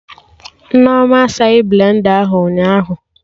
Nneoma asaghị blenda ahụ ụnyaahụ